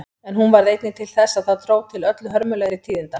En hún varð einnig til þess að það dró til öllu hörmulegri tíðinda.